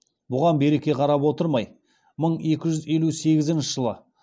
бұған берке қарап отырмай мың екі жүз елу сегізінші жылы